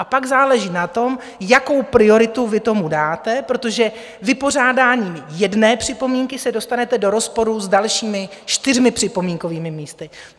A pak záleží na tom, jakou prioritu vy tomu dáte, protože vypořádáním jedné připomínky se dostanete do rozporu s dalšími čtyřmi připomínkovými místy.